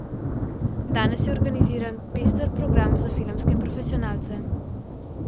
Danes je organiziran pester program za filmske profesionalce.